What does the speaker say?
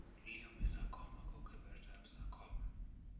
Leiomyosarcoma ko kebertab sarcoma.